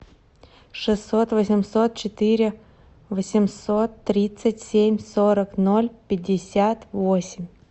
шестьсот восемьсот четыре восемьсот тридцать семь сорок ноль пятьдесят восемь